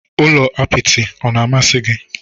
Ụlọ apịtị na-amasị gị?